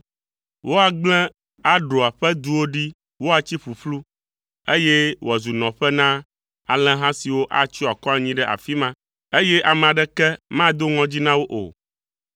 Woagblẽ Aroa ƒe duwo ɖi woatsi ƒuƒlu, eye wòazu nɔƒe na alẽha siwo atsyɔ akɔ anyi ɖe afi ma, eye ame aɖeke mado ŋɔdzi na wo o.